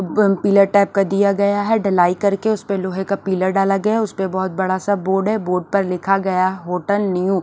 अ pillar type का दिया गया है डलाई करके उस परे लोहे का पीलर डाला गया है उसपे बहुत बड़ा सा बोर्ड है बोर्ड पर लिखा गया है होटल न्यू --